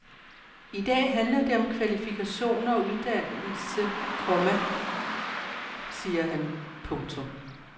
I dag handler det om kvalifikationer og uddannelse, komma siger han. punktum